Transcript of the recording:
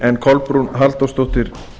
en kolbrún halldórsdóttir